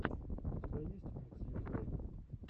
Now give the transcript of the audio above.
у тебя есть микс йуфрэйм